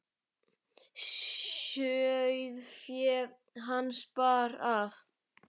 Sauðfé hans bar af.